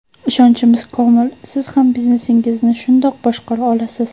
Ishonchimiz komil, siz ham biznesingizni shundoq boshqara olasiz.